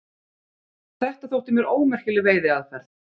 Þetta þótti mér ómerkileg veiðiaðferð.